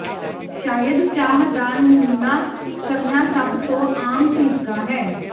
ਸ਼ਾਇਦ ਚਾਹ ਦਾ ਨਮੂਨਾ ਕਰਨਾ ਸਭ ਤੋਂ ਆਮ ਤਰੀਕਾ ਹੈ